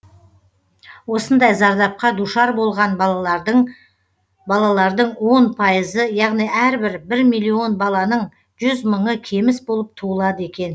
осындай зардапқа душар болған балалардың он пайызы яғни әрбір бір миллион баланың жүз мыңы кеміс болып туылады екен